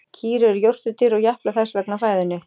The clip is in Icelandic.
Kýr eru jórturdýr og japla þess vegna á fæðunni.